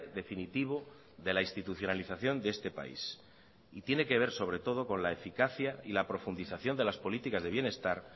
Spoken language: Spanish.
definitivo de la institucionalización de este país y tiene que ver sobre todo con la eficacia y la profundización de las políticas de bienestar